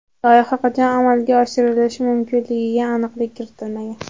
Loyiha qachon amalga oshirilishi mumkinligiga aniqlik kiritilmagan.